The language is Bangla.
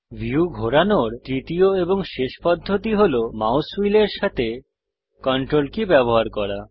ভিউ ঘোরানোর তৃতীয় এবং শেষ পদ্ধতি হল মাউস হুইলের সাথে CTRL কী ব্যবহার করা